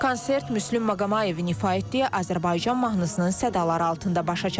Konsert Müslüm Maqomayevin ifa etdiyi Azərbaycan mahnısının sədaları altında başa çatıb.